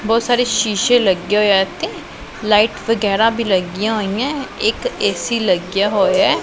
ਬਹੁਤ ਸਾਰੇ ਸ਼ੀਸ਼ੇ ਲੱਗੇ ਹੋਏ ਆ ਇਥੇ ਲਾਈਟ ਵਗੈਰਾ ਵੀ ਲੱਗੀਆਂ ਹੋਈਆਂ ਇੱਕ ਏ_ਸੀ ਲੱਗੀਆਂ ਹੋਇਆ।